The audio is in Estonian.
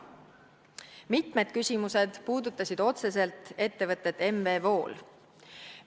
Mitmed küsimused puudutasid otseselt ettevõtet M.V.Wool.